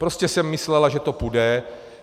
Prostě jsem myslela, že to půjde.